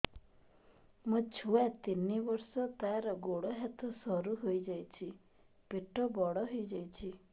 ମୋ ଛୁଆ ତିନି ବର୍ଷ ତାର ଗୋଡ ହାତ ସରୁ ହୋଇଯାଉଛି ପେଟ ବଡ ହୋଇ ଯାଉଛି